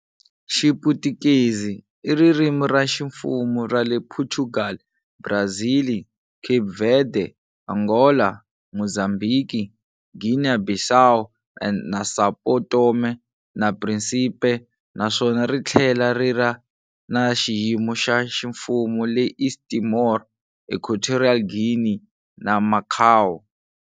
Xiputukezi i ririmi ra ximfumo ra le Phochugali, Brazili, Cape Verde, Angola, Muzambhiki, Guinea-Bissau na São Tomé na Príncipe, naswona ri thlela riri na xiyimo xa ximfumu le East Timor, Equatorial Guinea, na Macau.